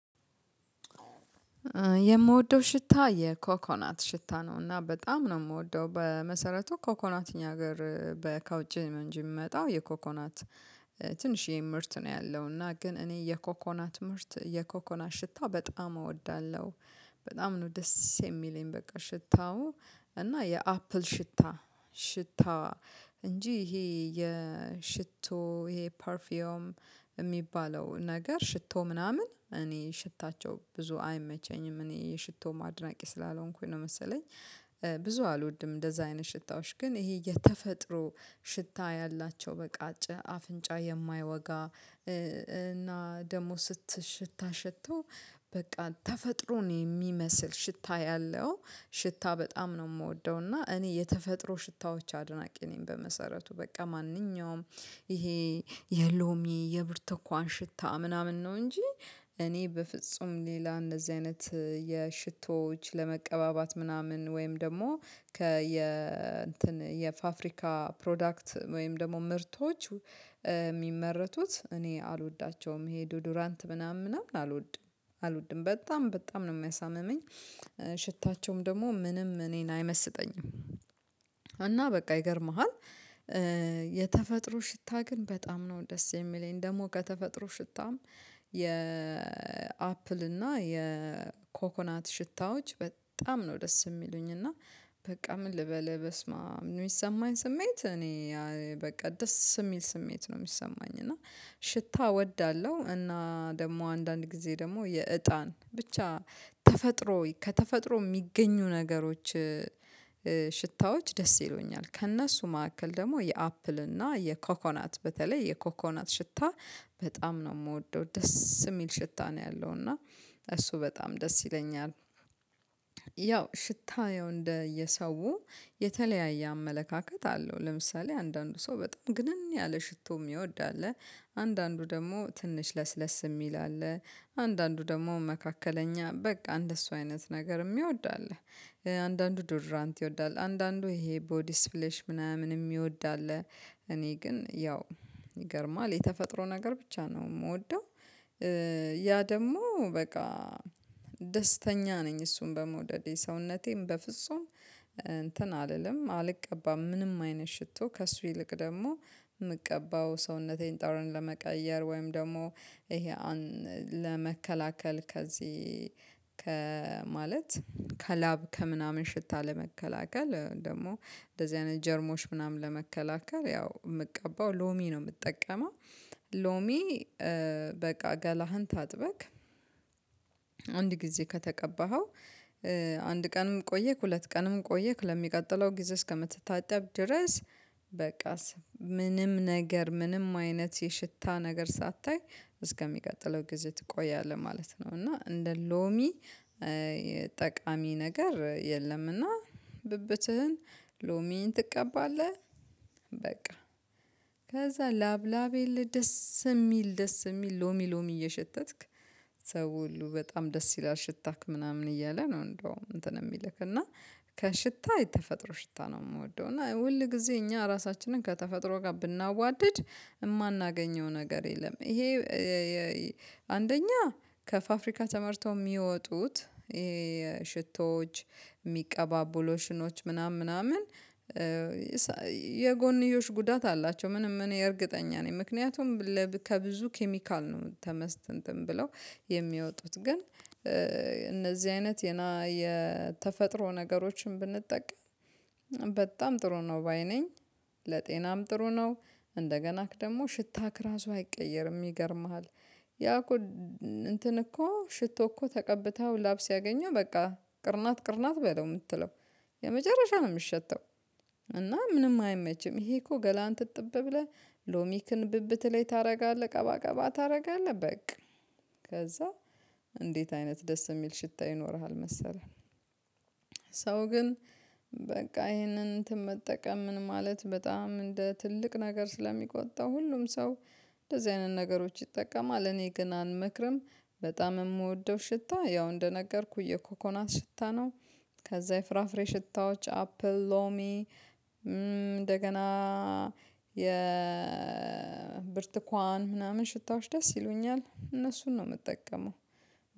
የምወደው ሽታ የኮኮናት ሽታ ነው። እና በጣም ነው የምወደው በመሰረቱ ኮኮናትኛ ሀገር በ ከውጭ ነው እንጅ የሚመጣው የኮኮናት ትንሽዬ ምርት ነው። ያለው እና ግን እኔ የኮኮናት ምህርት የኮኮናት ሽታ በጣም እወዳለሁ። በጣም ነው ደስ የሚለኝ በቃ ሽታው እና የአፕል ሽታ ሽታ እንጂ ይሄ የሽቶ ይሄ ፐርፊዮም ሚባለው ነገር ሽቶ ምናምን እኔ ሽታቸው ብዙ አይመቸኝም እኔ የሽቶ አድናቂ ስላልሆንኩኝ ነው መሰለኝ። ብዙ አልወድም እንደዛ አይነት ሽታዎች ግን ይሄ የተፈጥሮ ሽታ ያላቸው በቃጭ አፍንጫ የማያወጋ። እና ደግሞ ስት ሽታ ሽቶ በቃ ተፈጥሮ ነው የሚመስል ሽታ ያለው ሽታ በጣም ነው የምወደው። እና እኔ የተፈጥሮ ሽታዎች አድናቂ ነኝ። በመሰረቱ በቃ ማንኛውም ይሄ የሎሚ የብርተኳን ሽታ ምናምን ነው እንጂ እኔ በፍጹም ሌላ እንደዚህ አይነት የሽቶዎች ለመቀባባት ምናምን ወይም ደግሞ ከየ እንትን የፋፍሪካ ፕሮዳክት ወይም ደግሞ ምርቶች የሚመረቱት እኔ አልወዳቸውም። ይሄ ዱዱራንት ምናምን ምናምን አልወድም አልወድም በጣም በጣም ነው የሚያሳምመኝ ሽታቸውም ደግሞ ምንም እኔን አይመስጠኝም። እና በቃ ይገርምሃል። የተፈጥሮ ሽታ ግን በጣም ነው ደስ የሚለኝ ደግሞ ከተፈጥሮ ሽታም የአፕል እና የኮኮናት ሽታዎች በጣም ነው ደስ የሚሉኝ። እና በቃ ምን ልበል በስማም ሚሰማኝ ስሜት እኔ በቃ ደስ የሚል ስሜት ነው የሚሰማኝ። እና ሽታ እወዳለሁ እና ደግሞ አንዳንድ ጊዜ ደግሞ የእጣን ብቻ ተፈጥሮ ከተፈጥሮ የሚገኙ ነገሮች ሽታዎች ደስ ይሎኛል። ከእነሱ መካከል ደግሞ የአፕል እና የኮኮናት በተለይ የኮኮናት ሽታ በጣም ነው ምወደው ደስ ሚል ሽታ ነው ያለው እና እሱ በጣም ደስ ይለኛል። ያው ሽታ ያው እንደ የሰው የተለያየ አመለካከት አለው ለምሳሌ አንዳንዱ ሰው በጣም ግንን ያለ ሽቶ የሚወድ አለ። አንዳንዱ ደግሞ ትንሽ ለስለስ የሚል አለ። አንዳንዱ ደግሞ መካከለኛ በቃ እንደሱ አይነት ነገር ሚወድ አለ። አንዳንዱ ዶድራንት ይወዳል አንዳንዱ ይሄ ቦዲ ስፍሌሽ ምናምን የሚወድ አለ። እኔ ግን ያው ይገርማል የተፈጥሮ ነገር ብቻ ነው የምወደው። ያ ደሞ በቃ ደስተኛ ነኝ እሱን በመውደዴ ሰውነቴም በፍጹም እንትን አልልም አልቀባም ምንም አይነት ሽቶ ከእሱ ይልቅ ደግሞ ምቀባው ሰውነቴን ጠራን ለመቀየር ወይም ደግሞ ይሄ ለመከላከል ከዚህ ከማለት ከላብ ከምናምን ሽታ ለመከላከል ደግሞ እንደዚህ አይነት ጀርሞች ምናምን ለመከላከል ያው የምቀባው ሎሚ ነው የምትጠቀመው። ሎሚ በቃ ገላህን ታጥበክ አንድ ጊዜ ከተቀባኸው አንድ ቀንም ቆየክ ሁለት ቀንም ቆየክ ለሚቀጥለው ጊዜ እስከምትታጠብ ድረስ በቃስ ምንም ነገር ምንም አይነት የሽታ ነገር ሳታይ እስከሚቀጥለው ጊዜ ትቆያለህ ማለት ነው። እና እንደ ሎሚ ጠቃሚ ነገር የለም ና ብብትህን ሎሚን ትቀባለህ በቃ ከዛ ላብ ላብ የለ ደስ የሚል ደስ የሚል ሎሚ ሎሚ እየሸተትክ። ሰው ሁሉ በጣም ደስ ይላል ሽታክ ምናምን እያለ ነው። እንደውም እንትን የሚልክ እና ከሽታ የተፈጥሮ ሽታ ነው የምወደው እና ሁል ጊዜ እኛ ራሳችንን ከተፈጥሮ ጋር ብናዋድድ የማናገኘው ነገር የለም። ይሄ አንደኛ ከፋፍሪካ ተመርተው የሚወጡት ሽቶዎች የሚቀባቡለሽኖች ምናምን ምናምን የጎንዮሽ ጉዳት አላቸው። ምንም እኔ እርግጠኛ ነኝ ምክንያቱም ከብዙ ኬሚካል ነው ተመስጥ እንትን ብለው የሚወጡት ግን እነዚህ አይነት የና የተፈጥሮ ነገሮችን ብንጠቀም በጣም ጥሩ ነው ባይ ነኝ። ለጤናም ጥሩ ነው። እንደገናክ ደግሞ ሽታክ ራሱ አይቀየርም ይገርምሃል። ያ እኮ እንትን እኮ ሽቶ እኮ ተቀብታው ላብ ስየግኝህ በቃ ቅርናት ቅርናት በለው የምትለው የመጨረሻ ነው የምትሸተው። እና ምንም አይመችም ይሄ እኮ ገላን ትጥብ ብለህ ሎሚክን ብብት ላይ ታደርጋለህ ቀባቀባ ታደርጋለህ በቃ ከዛ እንዴት አይነት ደስ የሚል ሽታ ይኖርሃል መሰለህ። ሰው ግን በቃ ይሄንን እንትን መጠቀም ምን ማለት በጣም እንደ ትልቅ ነገር ስለሚቆጣው ሁሉም ሰው እንደዚህ አይነት ነገሮች ይጠቀማል እኔ ግን አንመክርም። በጣም የምወደው ሽታ ያው እንደነገርኩህ የኮኮናት ሽታ ነው። ከዛ የፍራፍሬ ሽታዎች አፕል ሎሚ እንደገና የ ብርትኳን ምናምን ሽታዎች ደስ ይሉኛል እነሱን ነው ምጠቀመው።